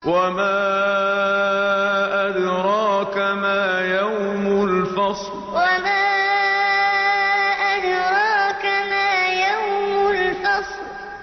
وَمَا أَدْرَاكَ مَا يَوْمُ الْفَصْلِ وَمَا أَدْرَاكَ مَا يَوْمُ الْفَصْلِ